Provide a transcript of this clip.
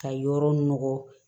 Ka yɔrɔ nɔgɔn